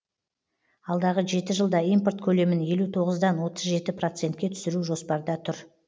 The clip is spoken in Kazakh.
алдағы жеті жылда импорт көлемін елу тоғыздан отыз жеті процентке түсіру жоспарда тұр